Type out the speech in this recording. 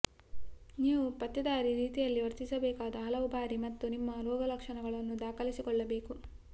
ನೀವು ಪತ್ತೇದಾರಿ ರೀತಿಯಲ್ಲಿ ವರ್ತಿಸಬೇಕಾದ ಹಲವು ಬಾರಿ ಮತ್ತು ನಿಮ್ಮ ರೋಗಲಕ್ಷಣಗಳನ್ನು ದಾಖಲಿಸಿಕೊಳ್ಳಬೇಕು